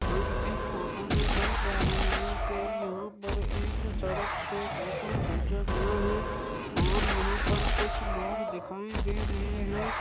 हम इस फोटो में देख पा रहे हैं कि यहाँ पर एक सड़क से फोटो खींचा गया है और यहाँ पर कुछ लोग देखाई दे रहे हैं।